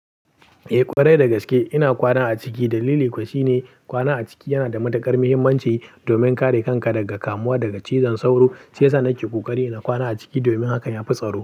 Eh ƙwarai dagaske ina kwana a ciki. Dalili kuwa shine kwana a ciki yana da matuƙar muhimmanci domin kare kanka daga kamuwa daga cizon sauro. Shi yasa nake kokari na kwana a ciki domin hakan ya fi tsaro.